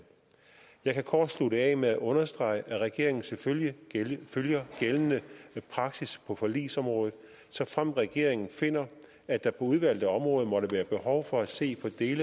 jeg kan kort slutte af med at understrege at regeringen selvfølgelig følger gældende praksis på forligsområdet såfremt regeringen finder at der på udvalgte områder måtte være behov for at se på dele